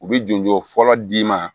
U bɛ jɔnjo fɔlɔ d'i ma